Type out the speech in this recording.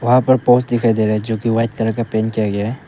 यहां पर दिखाई दे रहा है जोकि व्हाइट कलर का पेंट किया गया है।